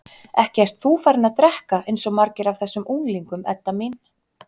Ekki ert þú farin að drekka eins og margir af þessum unglingum, Edda mín?